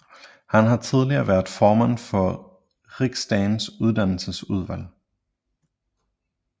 Han har tidligere været formand for Riksdagens uddannelsesudvalg